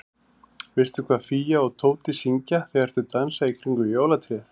Veistu hvað Fía og Tóti syngja þegar þau dansa í kringum jólatréð?